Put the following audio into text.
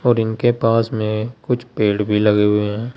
और इनके पास में कुछ पेड़ भी लगे हुए हैं।